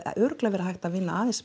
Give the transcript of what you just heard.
örugglega verið hægt að vinna